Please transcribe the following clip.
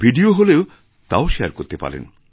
video হলে তাও share করতে পারেন